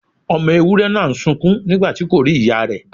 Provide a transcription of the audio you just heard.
Ọmọ ewúré náà ń sunkún nígbàtí kò rí ìyá rè.